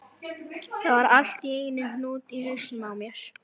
Það var allt í einum hnút í hausnum á mér.